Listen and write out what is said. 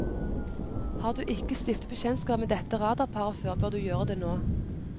Har du ikke stiftet bekjentskap med dette radarparet før, bør du gjøre det nå.